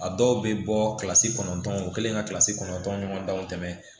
A dɔw bɛ bɔ kilasi kɔnɔntɔn o kɛlen ka kilasi kɔnɔntɔn ɲɔgɔn danw tɛmɛ